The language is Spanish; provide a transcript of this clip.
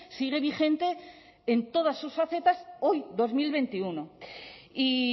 sigue vigente en todas sus facetas hoy dos mil veintiuno y